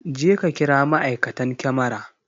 Jeka kira ma'aikatan kamara!